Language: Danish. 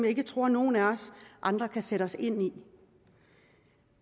ikke tror nogle af os andre kan sætte os ind i